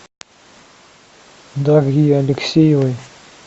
дарьи алексеевой